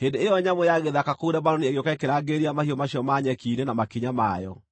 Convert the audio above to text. Hĩndĩ ĩyo nyamũ ya gĩthaka kũu Lebanoni ĩgĩũka ĩkĩrangĩrĩria mahiũ macio ma nyeki-inĩ na makinya mayo.